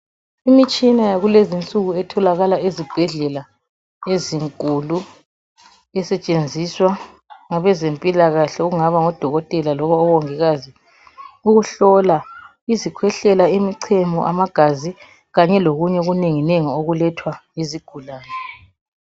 Imitshina yakulezinsuku etholakala ezibhedlela ezinkulu esetshenziswa ngabezempilakahle okungaba ngodokotela loba mongikazi ukuhlola izikhwehlela, imichemo, amagazi kanye lokunenginengi okukethwa yizigulane.